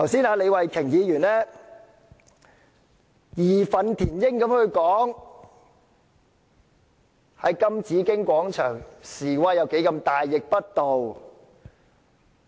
李慧琼議員剛才義憤填膺地說，在金紫荊廣場示威有多大逆不道。